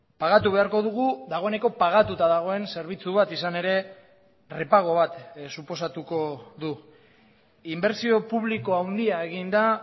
pagatu beharko dugu dagoeneko pagatuta dagoen zerbitzu bat izan ere repago bat suposatuko du inbertsio publiko handia egin da